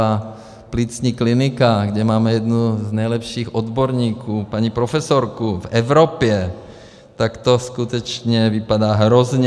A plicní klinika, kde máme jednu z nejlepších odborníků, paní profesorku, v Evropě, tak to skutečně vypadá hrozně.